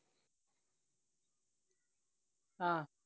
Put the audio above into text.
ആഹ്